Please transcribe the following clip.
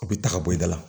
U bɛ ta ka bɔ i da la